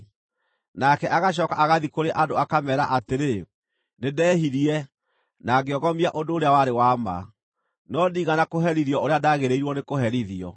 Nake agacooka agathiĩ kũrĩ andũ akameera atĩrĩ, ‘Nĩndehirie, na ngĩogomia ũndũ ũrĩa warĩ wa ma, no ndiigana kũherithio ũrĩa ndaagĩrĩirwo nĩkũherithio.